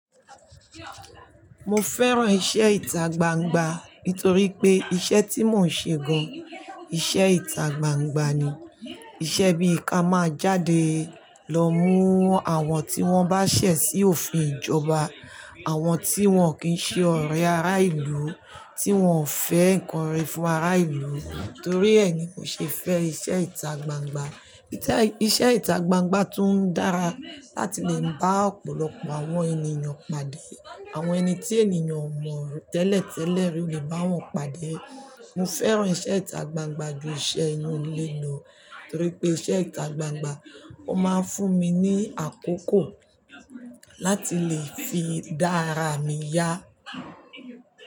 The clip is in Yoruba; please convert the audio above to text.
Mo fẹ́ràn iṣẹ́ ìta gbangba nítorí pé iṣẹ́ tí mò ń ṣe gan iṣẹ́ ìta gbangba ni. Iṣẹ́ bí i ká máa jáde lọ mú àwọn tí wọ́n bá ṣẹ̀ sí òfin ìjọba, àwọn tí wọ́n kì ń ṣe ọ̀rẹ́ ará ìlú, tí wọ́n ò fẹ́ ǹkan re fún ará ìlú nítorí ẹ ni mò ṣe fẹ́ iṣẹ́ ìta gbangba. Iṣẹ́ ìta gbangba tún dára láti lè bá ọ̀pọ̀lọpọ̀ àwọn ènìyàn pàdé. Àwọn ẹni tí ènìyàn ò mọ̀ tẹ́lẹ̀tẹ́lẹ̀ rí o lè bá wọn pàdé. Mo fẹ́ràn iṣẹ́ ìta gbangba ju iṣẹ́ inú ilé lọ nítorí pé iṣẹ́ ìta gbangba ó máa ń fún mi ní àkókò láti lè fi dá ara mi yá.